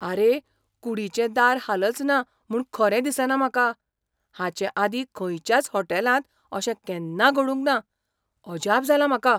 आरे, कुडीचें दार हालचना म्हूण खरें दिसना म्हाका! हाचे आदीं खंयच्याच होटॅलांत अशें केन्ना घडूंक ना. अजाप जालां म्हाका !